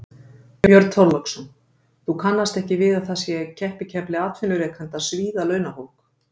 Björn Þorláksson: Þú kannast ekki við að það sé keppikefli atvinnurekenda að svíða launafólk?